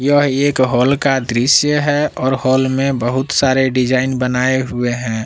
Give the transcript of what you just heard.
यह एक हॉल का दृश्य है और हॉल में बहुत सारे डिजाइन बनाए हुवे हैं।